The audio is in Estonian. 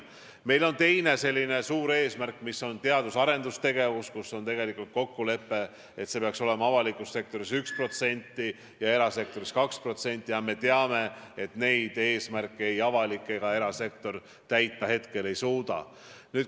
Meie teine suur eesmärk on teadus- ja arendustegevus, on kokkulepe, et avaliku sektori investeeringud peaksid seal olema 1% SKP-st ja erasektori omad 2%, aga me teame, et neid eesmärke ei avalik ega erasektor hetkel täita ei suuda.